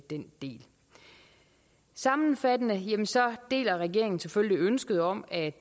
den del sammenfattende deler regeringen selvfølgelig ønsket om at